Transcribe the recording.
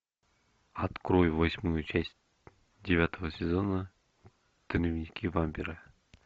открой восьмую часть девятого сезона дневники вампира